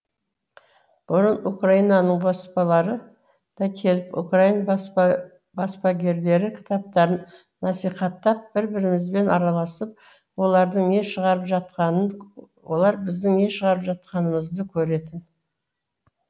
бұрын украинаның баспалары да келіп украин баспагерлері кітаптарын насихаттап бір бірімізбен араласып олардың не шығарып жатқанын олар біздің не шығарып жатқанымызды көретін